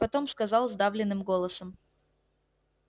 потом сказал сдавленным голосом